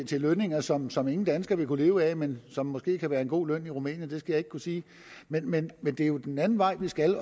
til lønninger som som ingen dansker ville kunne leve af men som måske kan være en god løn i rumænien det skal jeg ikke kunne sige men men det er jo den anden vej vi skal